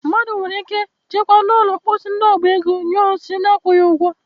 Mmadụ nwere ike jekwaa n'ụlọ mposi ndị oba ego nyụọ nsị na-akwụghị ụgwọ.